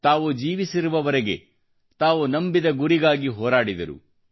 ತಾವು ಜೀವಿಸಿರುವವರೆಗೆ ತಾವು ನಂಬಿದ ಗುರಿಗಾಗಿ ಹೋರಾಡಿದರು